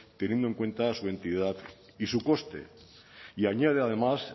teniendo en cuenta su entidad y su coste y añade además